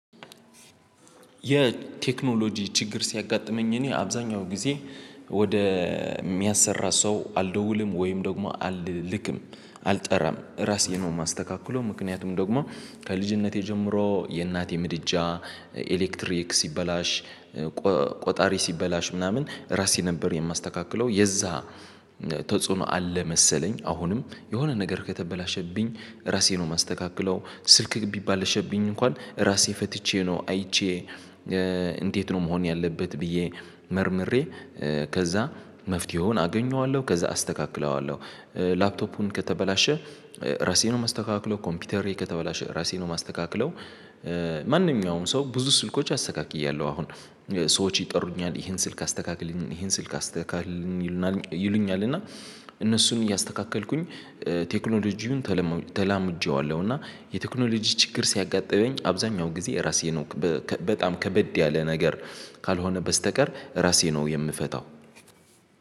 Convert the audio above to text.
የቴክኖሎጂ ችግር ሲያጋጥመኝ እኔ አብዛኛው ጊዜ ወደ የሚያሰራ ሰው አልደውልም ወይም ደግሞ አልልክም አልጠራም ራሴን ነው የማስተካክለው ምክንያቱም ደግሞ ከልጅነቴ ጀምሮ የእናቴ ምድጃ ኤሌክትሪክ ሲበላሽ ቆጣሪ ሲበላሽ ምናምን ራሴ ነበር የማስተካክለው የዛ ተጽዕኖ አለ መሰለኝ አሁንም የሆነ ነገር ከተበላሸብኝ ራሴ ነው የማስተካክለው ስልክ ቢባል አሸብኝ እንኳን ራሴ ፈትቼ ነው አይቼ እንዴት ነው መሆን ያለበት ብዬ መርምሬ ከዛ መፍትሄውን አገኘዋለሁ ከዛ አስተካክለዋለሁ ላፕቶፑን ከተበላሸ ራሴን ነው የማስተካክለው ኮምፒውተሬ ከተበላሸ ራሴን ነው የማስተካክለው ማንኛውም ሰው ብዙ ስልኮች አስተካክያለሁ አሁን ሰዎች ይጠሩኛል ይሄን ስልክ አስተካክልኝ ይሄን ስልክ አስተካክልኝ ይሉኛል እና እነሱን እያስተካከልኩኝ ቴክኖሎጂውን ተላምጄዋለሁ እና የቴክኖሎጂ ችግር ሲያጋጥመኝ አብዛኛው ጊዜ ራሴን በጣም ከበድ ያለ ነገር ካልሆነ በስተቀር ራሴ ነው የምፈታው።